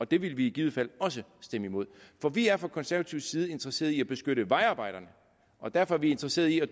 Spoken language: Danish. det ville vi i givet fald også stemme imod for vi er fra konservativ side interesseret i at beskytte vejarbejderne og derfor er vi interesseret i at